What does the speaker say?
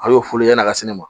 A y'o fɔlen yanni a ka se ne ma